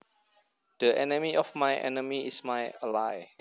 The enemy of my enemy is my ally